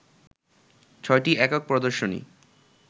ছয়টি একক প্রদর্শনী